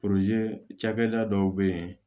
cakɛda dɔw be yen